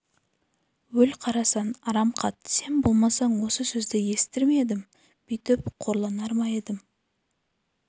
өл қарасан арам қат сен болмасаң осы сөзді естір ме едім бүйтіп қорланар ма едім